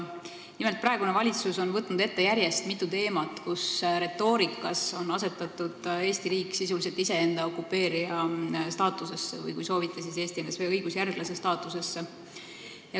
Nimelt, praegune valitsus on võtnud järjest ette mitu teemat, kus retoorikas on asetatud Eesti riik sisuliselt iseenda okupeerija staatusesse või kui soovite, siis Eesti NSV õigusjärglase staatusesse.